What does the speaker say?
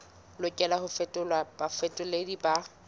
lokelang ho fetolelwa bafetoleding ba